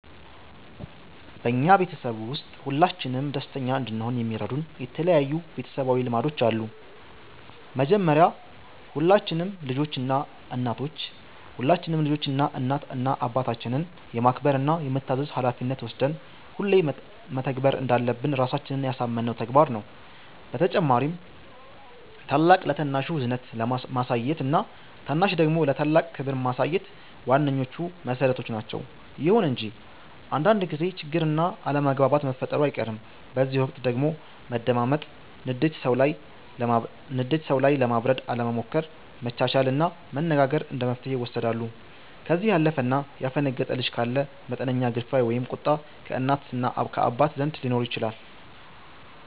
በኛ ቤተሰብ ውስጥ ሁላችንም ደስተኛ እንድሆን የሚረዱን የተለያዩ ቤተሰባዊ ልማዶች አሉ። መጀመሪያ ሁላችንም ልጆች እናት እና አባታችንን የማክበር እና የመታዘዝ ሀላፊነት ወስደን ሁሌ መተግበር እንዳለብን ራሳችንን ያሳመነው ተግባር ነው። በተጨማሪም ታላቅ ለታናሹ እዝነት ማሳየት እና ታናሽ ደግሞ ለታላቅ ክብር ማሳየት ዋነኞቹ መሠረቶች ናቸዉ። ይሁን እንጂ አንዳንድ ጊዜ ችግር እና አለመግባባት መፈጠሩ አይቀርም፤ በዚህ ወቅት ደግሞ መደማመጥ፣ ንዴት ሰዉ ላይ ለማብረድ አለመሞከር፣ መቻቻል እና መነጋገር እንደመፍትሔ ይወሰዳሉ። ከዚህ ያለፈ እና ያፈነገጠ ልጅ ካለ መጠነኛ ግርፊያ ወይም ቁጣ ከእናት እና ከአባት ዘንድ ሊኖር ይችላል።